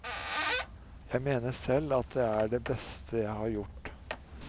Jeg mener selv at det er det beste jeg har gjort.